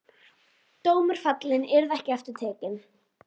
Dómur fallinn, yrði ekki aftur tekinn.